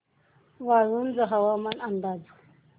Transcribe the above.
वाळूंज हवामान अंदाज